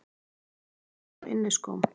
Kemur hlaupandi á inniskóm.